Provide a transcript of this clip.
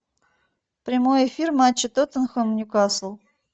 прямой эфир матча тоттенхэм ньюкасл